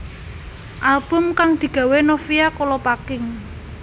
Album kang digawé Novia Kolopaking